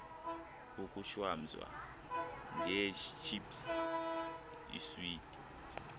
ukushwamza ngeetships iiswiti